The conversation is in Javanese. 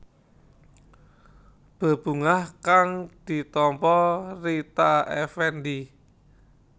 Bebungah kang ditampa Rita Effendy